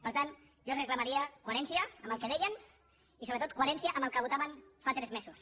per tant jo els reclamaria coherència amb el que deien i sobretot coherència amb el que votaven fa tres mesos